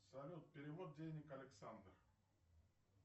салют перевод денег александр